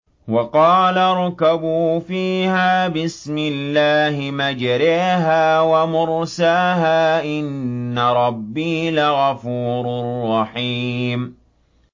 ۞ وَقَالَ ارْكَبُوا فِيهَا بِسْمِ اللَّهِ مَجْرَاهَا وَمُرْسَاهَا ۚ إِنَّ رَبِّي لَغَفُورٌ رَّحِيمٌ